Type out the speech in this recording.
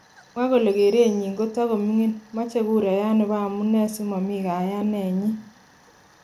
Kimwa kole kereenyin kotogomiigin, moche kurayat nebo amunee simomi kayane nyin.